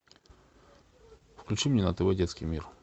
включи мне на тв детский мир